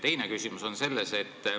Teine küsimus on see.